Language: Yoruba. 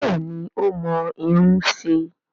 Bẹ́ẹ̀ni ó mọ irun ṣe